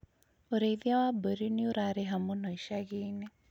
ũrĩithia wa mbũri nĩũrarĩha mũno icagi-inĩ